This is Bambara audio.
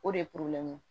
O de ye